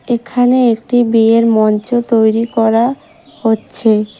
এখানে একটি বিয়ের মঞ্চ তৈরি করা হচ্ছে।